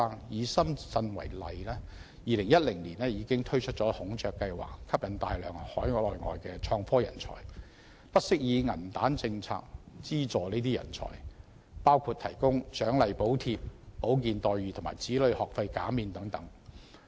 以深圳為例 ，2010 年已推出"孔雀計劃"，吸引大量海內外的創科人才，不惜以"銀彈政策"資助這些人才，包括提供獎勵補貼、保健待遇和子女學費減免等。